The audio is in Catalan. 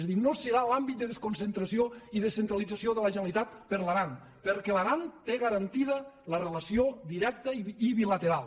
és a dir no serà l’àmbit de desconcentració i descentralització de la generalitat per a l’aran perquè l’aran té garantida la relació directa i bilateral